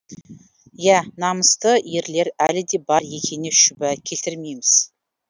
иә намысты ерлер әлі де бар екеніне шүбә келтірмейміз